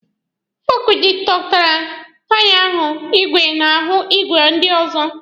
Fọọkụ jịkọtara taya ihu igwe na ahụ ìgwè ndị ọzọ.